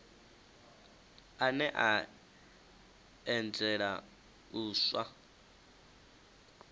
ane a anzela u iswa